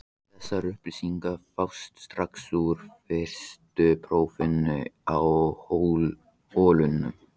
Þessar upplýsingar fást strax úr fyrstu prófunum á holunum.